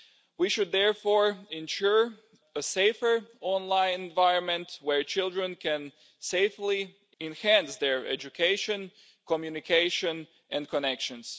We should therefore ensure a safer online environment where children can safely enhance their education, communication and connections.